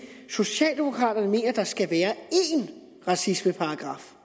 socialdemokraterne mener at der skal være én racismeparagraf